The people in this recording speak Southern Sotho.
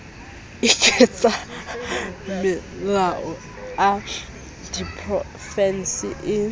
a ketsamelao a diprofense le